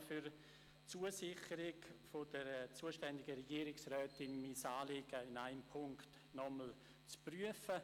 Ich danke auch für die Zusicherung der zuständigen Regierungsrätin, mein Anliegen in einem Punkt nochmals zu prüfen.